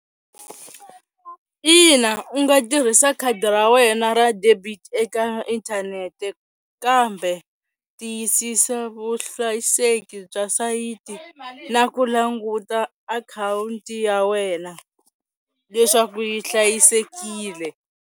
Ina u nga tirhisa khadi ra wena ra debit eka inthanete kambe tiyisisa vuhlayiseki bya sayiti na ku languta akhawunti ya wena leswaku yi hlayisekile.